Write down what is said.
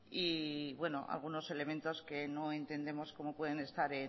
y algunos elementos que no entendemos cómo pueden estar